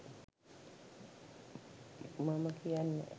මම කියන්නේ නෑ.